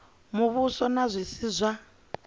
muvhuso na zwi si zwa